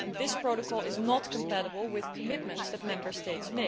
This Protocol is not compatible with commitments made by Member States.